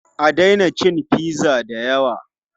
A daina cin pizza da yawa!